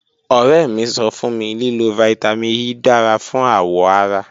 Ọrẹ mi sọ fun mi lilo Vitamin E dara fun awọ ara